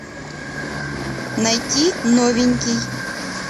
найти новенький